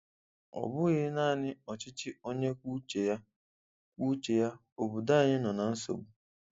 Ọ bụghị naanị ọchịchị onye kwuo uche ya, kwuo uche ya, obodo anyị nọ na nsogbu.